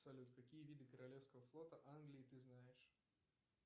салют какие виды королевского флота англии ты знаешь